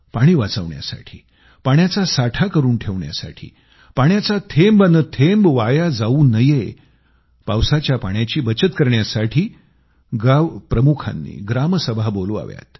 पाणी वाचवण्यासाठी पाण्याचा साठा करून ठेवण्यासाठी पावसाचा थेंब न थेंब वाया जावू नये पावसाच्या पाण्याची बचत करण्यासाठी गाव प्रमुखांनी ग्रामसभा बैठका बोलावाव्यात